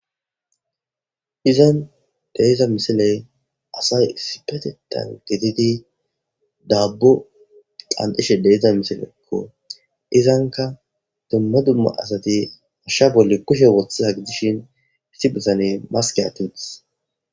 izan de'iza misiley asay isipetetan gitidi daabbo qanxishe de'iza misilekko izanka tumma dumma asati ashsha bolle kushe woththa gidishin issi bitney maske ati utis